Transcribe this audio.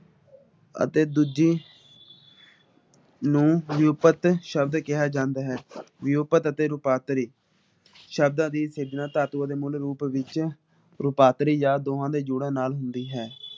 ਅਤੇ ਦੂਜੇ ਨੂੰ ਰੂਪਤ ਸ਼ਬਦ ਕਿਹਾ ਜਾਂਦਾ ਹੈ । ਰੂਪਤ ਅਤੇ ਰੂਪਤਾਨੀ ਸ਼ਬਦਾਂ ਦੀ ਤੁਲਨਾ ਤਾਤੂਆ ਦੇ ਮੁੱਲ ਰੂਪ ਵਿੱਚ ਰੂਪਾਂਤਰੀ ਜਾ ਦੋਨਾਂ ਦੇ ਜੋੜਾ ਨਾਲ ਹੁੰਦੀ ਹੈ।